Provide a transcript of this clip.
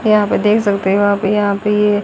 यहां पे आप देख सकते हो आप यहां पे ये --